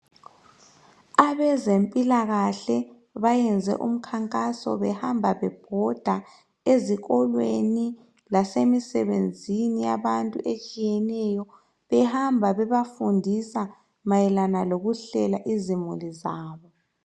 Abezempilakahle bayenze umkhankaso behamba bebhoda ezikolweni basemsebenzini yabantu etshiyeneyo behamba bebafundisa mayelana loluhlela izimo zabo